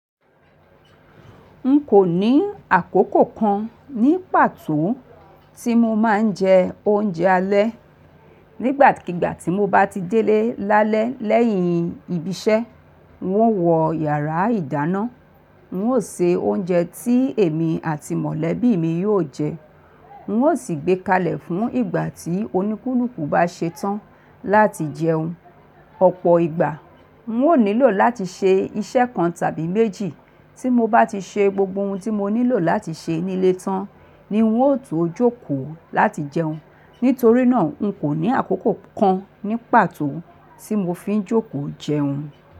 Nkò ní àkókò kan ní pàtó tí mo máa ń jẹ oúnjẹ alẹ́. Nígbàkigbà tí mo bá ti délé lálẹ́ lẹ́yìn ibi iṣẹ́, n ó wọ yàrá ìdáná, n ó se oúnjẹ tí èmi àti mọ̀lẹ́bí mi yóò jẹ, n ó sì gbé kalẹ̀ fún ìgbà tí oníkúlùkù bá ṣe tán láti jẹun. Ọ̀pọ̀ ìgbà, n ó nílò láti ṣe iṣẹ́ kan tàbí méjì. Tí mo bá ti ṣe gbogbo ohun tí mo nílò láti ṣe nílé tán ni n ó tòjúkò láti jẹun. Nítorí náà, n kò ní àkókò kan ní pàtó tí mo fi ń jókòó jẹun.